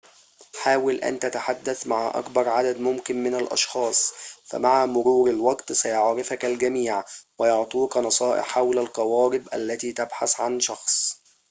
حاول أن تتحدث مع أكبر عدد ممكن من الأشخاص فمع مرور الوقت سيعرفك الجميع ويعطوك نصائح حول القوارب التي تبحث عن شخص